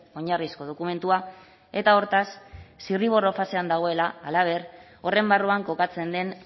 oinarrizko dokumentua eta hortaz zirriborro fasean dagoela halaber horren barruan kokatzen den